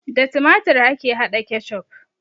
Da tumatur ake hada ketchup